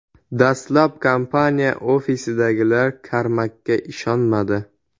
Dastlab kompaniya ofisidagilar Karmakga ishonmadi.